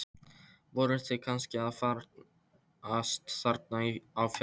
Voru þið kannski að farast þarna á fjallinu?